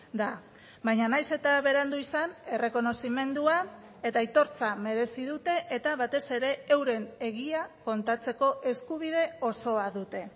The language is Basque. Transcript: da baina nahiz eta berandu izan errekonozimendua eta aitortza merezi dute eta batez ere euren egia kontatzeko eskubide osoa dute